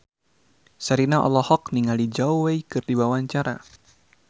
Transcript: Sherina olohok ningali Zhao Wei keur diwawancara